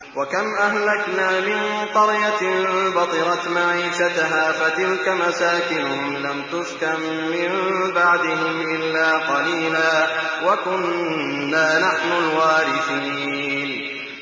وَكَمْ أَهْلَكْنَا مِن قَرْيَةٍ بَطِرَتْ مَعِيشَتَهَا ۖ فَتِلْكَ مَسَاكِنُهُمْ لَمْ تُسْكَن مِّن بَعْدِهِمْ إِلَّا قَلِيلًا ۖ وَكُنَّا نَحْنُ الْوَارِثِينَ